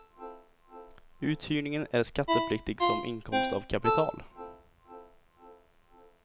Uthyrningen är skattepliktig som inkomst av kapital.